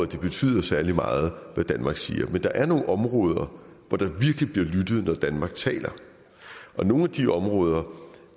det betyder særlig meget hvad danmark siger men der er nogle områder hvor der virkelig bliver lyttet når danmark taler nogle af de områder